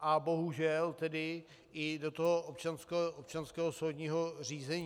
a bohužel tedy i do toho občanského soudního řízení.